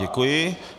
Děkuji.